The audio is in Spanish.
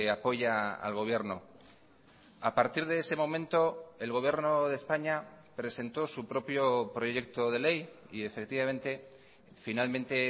apoya al gobierno a partir de ese momento el gobierno de españa presentó su propio proyecto de ley y efectivamente finalmente